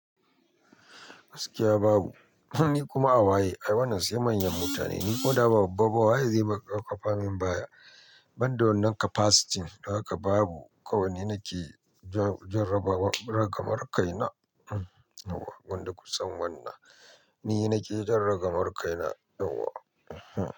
Gaskiya babu. Ni kuma a waye, ai wannan sai manyan mutane. Ni ko da ba babba ba waye zai baƙa kwafa min baya. Ban da wannan capacity don haka babu. Kawai ni nake jan ragamar kaina. Yauwa, wadda kusan wannan ni nake jan ragamar kaina yauwa.